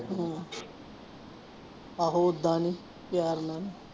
ਹਾਂ ਆਹੋ ਓਦਾਂ ਨੀ ਪਿਆਰ ਨਾਲ।